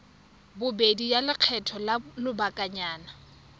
bobedi ya lekgetho la lobakanyana